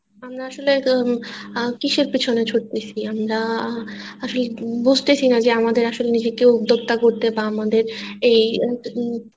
আমরা আসলে আহ উম কিসের পেছনে ছুটতেছি আমরা আসলে বুঝতেছি না যে আমাদের আসলে নিজেদের উদ্যোক্তা করতে বা আমাদের এই আহ উম